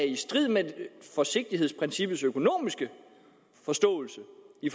i strid med forsigtighedsprincippets økonomiske forståelse for i